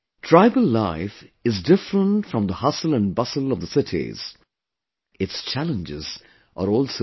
Tribal life is different from the hustle and bustle of the cities; its challenges are also different